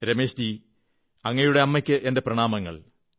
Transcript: രമേശ്ജീ അങ്ങയുടെ അമ്മയ്ക്ക് എന്റെ പ്രണാമങ്ങൾ